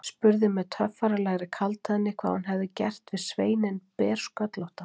Spurði með töffaralegri kaldhæðni hvað hún hefði gert við sveininn bersköllótta.